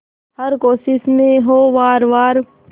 हर कोशिश में हो वार वार